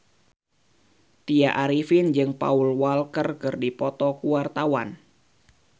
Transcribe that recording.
Tya Arifin jeung Paul Walker keur dipoto ku wartawan